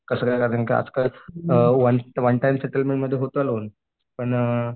आजकाल uh one one time settlement मध्ये होतो लोन पण